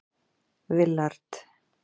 Willard